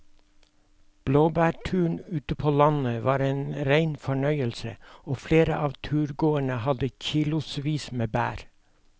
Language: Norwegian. Blåbærturen ute på landet var en rein fornøyelse og flere av turgåerene hadde kilosvis med bær.